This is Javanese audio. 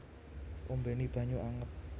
Ombéni banyu anget